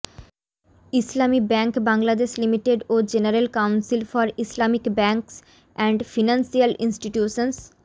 ইসলামী bank Bangladesh limited ও general council for Islamic banks and financial institutions